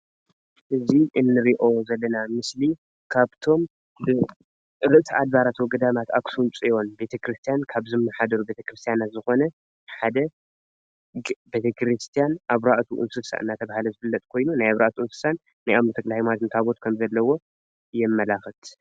እዚ እንርእዮ ዘለና ምስሊ ካብቶም ርእሰ ኣድባራት ወገዳማት ኣክሱም ፅዮን ቤተ ክርስትያን ካብ ዝመሓደሩ ቤተ ክርስትያናት ዝኮነ ሓደ ቤተ ክርስትያን ኣርባቱ እንስሳ እናተባሃለ ዝፍለጥ ኮይኑ ናይ ኣርባቱ እንስሳን ናይ ኣቡነ ተክለሃይማኖት ታቦት ከምዘለዎ የማላክት::